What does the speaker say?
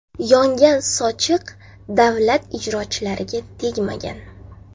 Yongan sochiq davlat ijrochilariga tegmagan.